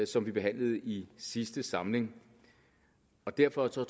som vi behandlede i sidste samling og derfor tror